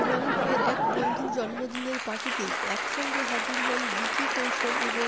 এবারও ফের এক বন্ধুর জন্মদিনের পার্টিতে একসঙ্গে হাজির হন বিকি কৌশল এবং